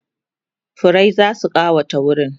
furrai zasu kawata wurin